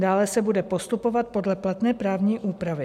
Dále se bude postupovat podle platné právní úpravy.